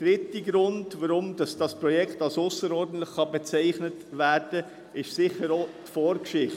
Ein dritter Grund, weshalb dieses Projekt als ausserordentlich bezeichnet werden kann, ist sicher auch dessen Vorgeschichte.